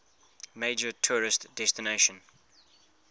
major tourist destination